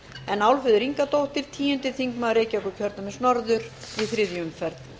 en álfheiður ingadóttir tíundi þingmaður reykjavíkurkjördæmis norður í þriðju umferð